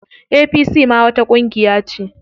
APC ma wata ƙungiya ce.